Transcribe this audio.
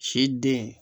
Si den